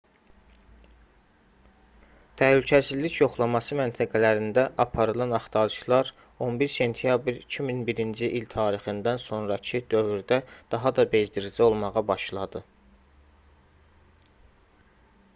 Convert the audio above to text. təhlükəsizlik yoxlaması məntəqələrində aparılan axtarışlar 11 sentyabr 2001-ci il tarixindən sonrakı dövrdə daha da bezdirici olmağa başladı